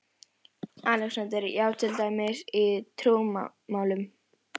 ALEXANDER: Já, til dæmis í trúmálum?